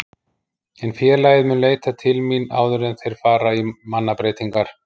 En félagið mun leita til mín áður en að þeir fara í mannabreytingar.